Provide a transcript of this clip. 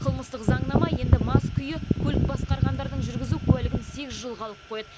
қылмыстық заңнама енді мас күйі көлік басқарғандардың жүргізу куәлігін сегіз жылға алып қояды